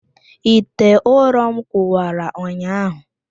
Ite ụrọm kụwara ụnyahụ